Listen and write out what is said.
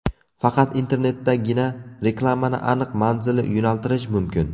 Faqat internetdagina reklamani aniq manzilli yo‘naltirish mumkin.